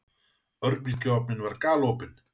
Örbylgjuofninn var galopinn.